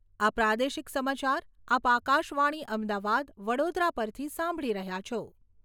આ પ્રાદેશિક સમાચાર આપ આકાશવાણી અમદાવાદ વડોદરા પરથી સાંભળી રહ્યા છો